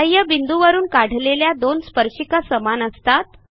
बाह्यबिंदूवरून काढलेल्या दोन स्पर्शिका समान असतात